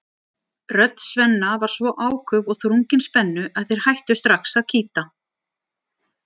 Rödd Svenna var svo áköf og þrungin spennu að þeir hættu strax að kýta.